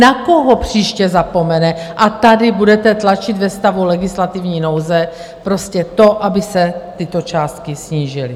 Na koho příště zapomene a tady budete tlačit ve stavu legislativní nouze prostě to, aby se tyto částky snížily?